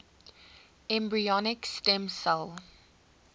embryonic stem cell